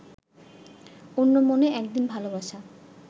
অন্যমনে একদিন ভালোবাসা